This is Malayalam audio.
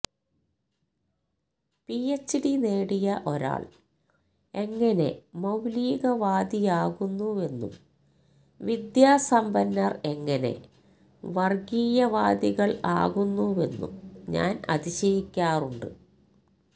പിഎച്ച്ഡി നേടിയ ഒരാള് എങ്ങനെ മൌലികവാദിയാകുന്നുവെന്നും വിദ്യാസമ്പന്നര് എങ്ങനെ വര്ഗ്ഗീയവാദികള് ആകുന്നുവെന്നും ഞാന് അതിശയിക്കാറുണ്ട്